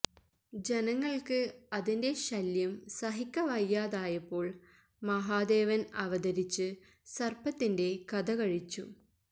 ജനങ്ങള്ക്ക് അതിന്റെ ശല്യം സഹിക്കവയ്യാതായപ്പോള് മഹാദേവന് അവതരിച്ച് സര്പത്തിന്റെ കഥ കഴിച്ചു